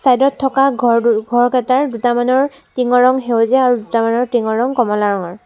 Side ত থকা ঘৰ দু ঘৰকেইটাৰ দুটামানৰ টিংৰ ৰং সেউজীয়া আৰু দুটামানৰ টিংৰ ৰং কমলা ৰঙৰ।